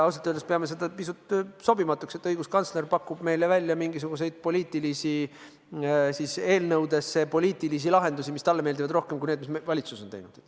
Ausalt öeldes me peame seda pisut sobimatuks, et õiguskantsler pakub eelnõusse mingisuguseid poliitilisi lahendusi, mis talle meeldivad rohkem kui need, mis valitsus on teinud.